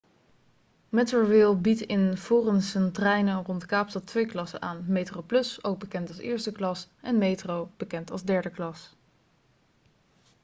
metrorail biedt in de forensentreinen rond kaapstad twee klassen aan: metroplus ook bekend als eerste klas en metro bekend als derde klas